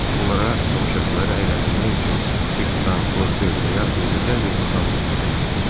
Onlara tamaşaçıları əyləndirmək üçün cırtdan, qozbel və ya eybəcər bir adam lazım idi.